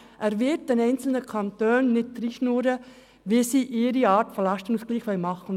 Er wird den einzelnen Kantonen jedoch nicht vorschreiben, wie diese den einzelnen Lastenausgleich vornehmen müssen.